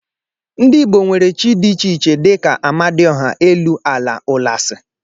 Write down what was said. Ndị Igbo nwere chi dị iche iche dị ka Amadioha, elu, ala, ụlasị